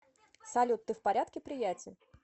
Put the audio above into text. салют ты в порядке приятель